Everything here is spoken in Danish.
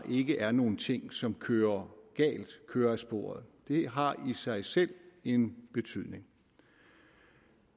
ikke er nogen ting som kører galt kører af sporet det har i sig selv en betydning